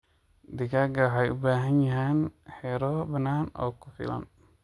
Digaaga waxay u baahan yihiin xiroo bannaan oo ku filan.